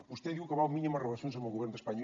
vostè diu que vol mínimes relacions amb el govern d’espanya